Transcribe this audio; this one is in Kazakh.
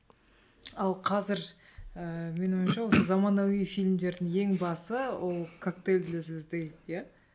ал қазір ыыы менің ойымша осы заманауи фильмдердің ең басы ол коктейль для звезды иә